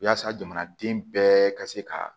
Yaasa jamanaden bɛɛ ka se ka